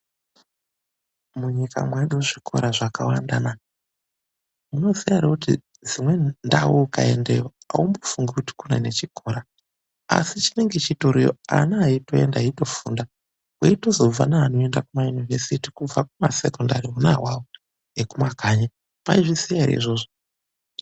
Munyika mwedu zvikora zvakawanda naa ! Munoziya here kut dzimweni ndau mukandayo aumbifungi kut kune chikora ,asi chinenge chitoriyo ana eitoenda eitofunda kweitozobva neanoenda kumayunivhesiti kubva kumasekondari ona awawo ekumakanyi mwaizviziya ere izvozvo.